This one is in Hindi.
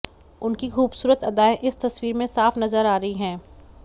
उनकी खूबसूरत अदाएं इस तस्वीर में साफ नजर आ रही हैं